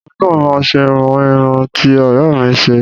Èmi náà máa ṣe irú irun ti ọ̀rẹ́ mi ṣe